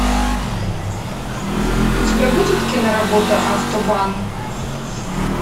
у тебя будет киноработа автобан